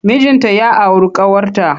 Mijinta ya auru ƙawarta.